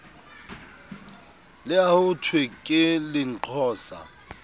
le ha hothwe ke lenqosa